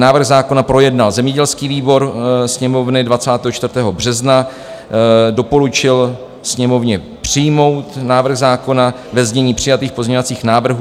Návrh zákona projednal zemědělský výbor Sněmovny 24. března, doporučil Sněmovně přijmout návrh zákona ve znění přijatých pozměňovacích návrhů.